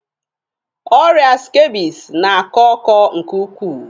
Ọrịa skebisi na-akọ ọkọ nke ukwuu.